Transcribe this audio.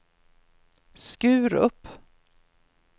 Skurup